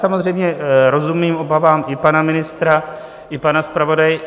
Samozřejmě rozumím obavám i pana ministra, i pana zpravodaje.